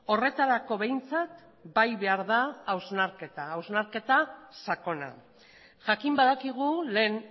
horretarako behintzat bai behar da hausnarketa hausnarketa sakona jakin badakigu lehen